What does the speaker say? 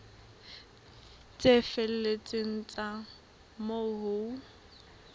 tse felletseng tsa moo ho